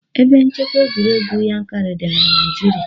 Ebe nchekwa egwuregwu Yankarị dị ná Naịjirịa.